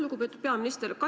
Lugupeetud peaminister!